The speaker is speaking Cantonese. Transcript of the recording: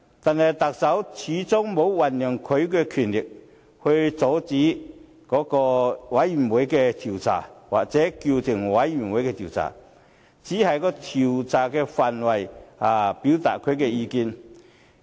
但是，特首始終沒有運用他的權力阻礙專責委員會的調查，又或叫停專責委員會的調查，他只是對調查範圍表達意見。